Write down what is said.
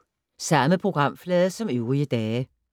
Samme programflade som øvrige dage